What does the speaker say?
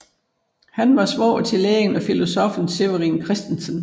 Han var svoger til lægen og filosoffen Severin Christensen